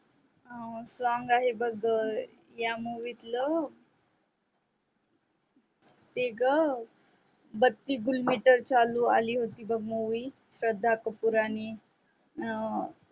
song आहे बघ या मूवीतल ते ग बत्ती गूल आली होती बघ मूवी श्रद्धा कपूर आणि